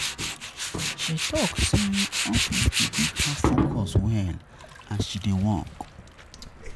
She tok sey office dey make her focus well as she dey work.